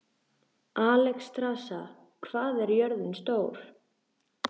Alexstrasa, hvað er jörðin stór?